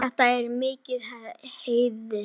Þetta er mikill heiður.